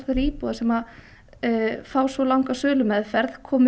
íbúða sem fá svo langa sölumeðferð komið